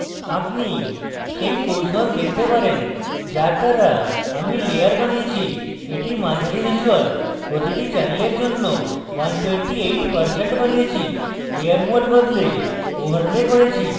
আপনি সেই কৌশল দেখতে পারেন যার দ্বারা আমি layer বানিয়েছি এবং এটি মাঝারি ধুসর এবং প্রতিটি channel জন্য 128% বানিয়েছি এবং layer mode বদলে overlay করেছি